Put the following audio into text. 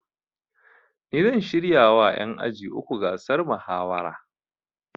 Ni zan shirya wa ƴan aji uku gasar mahawara